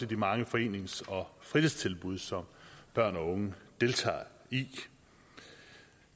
de mange forenings og fritidstilbud som børn og unge deltager i